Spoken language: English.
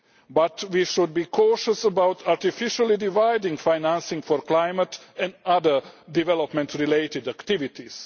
But, we should be cautious about artificially dividing financing for climate and other development related activities.